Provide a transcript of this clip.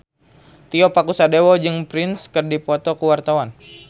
Tio Pakusadewo jeung Prince keur dipoto ku wartawan